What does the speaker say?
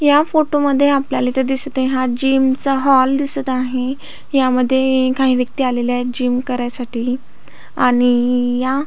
या फोटोमध्ये आपल्याला इथ दिसत आहे हा जिम चा हॉल दिसत आहे यामध्ये काही व्यक्ती आलेल्या आहेत जीम करायसाठी आणि या--